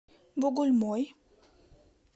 бугульмой